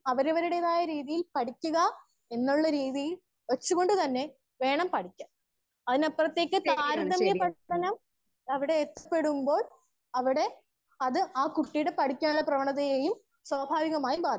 Speaker 1 അവരവരുടേതായ രീതിയിൽ പഠിക്കുക. എന്നുള്ള രീതിയിൽ വെച്ച് കൊണ്ട് തന്നെ വേണം പഠിക്കാൻ. അതിന് അപ്പുറത്തേക്ക് താര തമ്യ പെടുത്തണം അവിടെ എത്തിപെടുമ്പോൾ. അവിടെ അത് ആ കുട്ടിയുടെ പഠിക്കാനുള്ള പ്രവണതയുടെയും. സ്വഭാവികമായി മാറും